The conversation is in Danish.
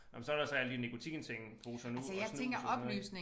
Nåh men så der så alle de nikotinting poser nu og snus og sådan noget ik